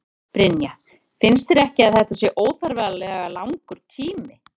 Brynja: Finnst þér ekki að þetta sé óþarflega langur tími?